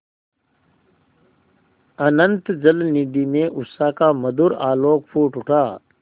अनंत जलनिधि में उषा का मधुर आलोक फूट उठा